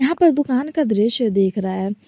दुकान का दृश्य देख रहा है।